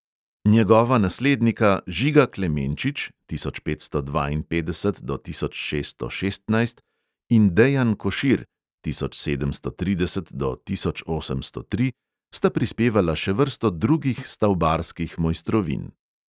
Njegova naslednika žiga klemenčič (tisoč petsto dvainpetdeset do tisoč šeststo šestnajst) in dejan košir (tisoč sedemsto trideset do tisoč osemsto tri) sta prispevala še vrsto drugih stavbarskih mojstrovin.